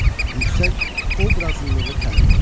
Yüksək obrazlılığı təmin edir.